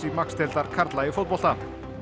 Max deildar karla í fótbolta